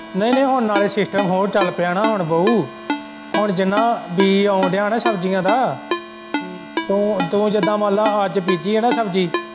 ਨਈ-ਨਈ ਹੁਣ ਨਾਲ਼ੇ ਸਿਸਟਮ ਹੋਰ ਚੱਲ ਪਿਆ ਨਾ ਹੁਣ ਬਊ ਹੁਣ ਜਿੰਨਾਂ ਬੀਜ ਆਉਣ ਦਿਆਂ ਨਾ ਸ਼ਬਜੀਆਂ ਦਾ ਤੂੰ-ਤੂੰ ਜਿੱਦਾ ਮੰਨ ਲੈ ਅੱਜ ਬੀਜੀ ਏ ਨਾ ਸ਼ਬਜੀ।